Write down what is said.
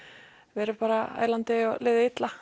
verið bara ælandi og liðið illa